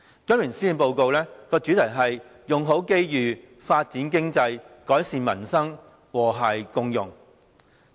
今年施政報告的主題是"用好機遇，發展經濟，改善民生，和諧共融"。